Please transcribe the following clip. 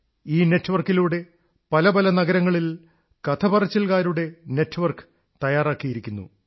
ഈ നെറ്റ്വർക്കിലൂടെ പല പല നഗരങ്ങളിൽ കഥ പറച്ചിൽ കാരുടെ നെറ്റ്വർക്ക് തയ്യാറാക്കിയിരിക്കുന്നു